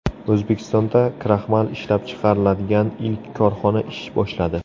O‘zbekistonda kraxmal ishlab chiqariladigan ilk korxona ish boshladi.